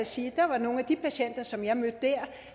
sige at der var nogle af de patienter som jeg mødte der